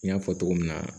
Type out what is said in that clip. N y'a fɔ cogo min na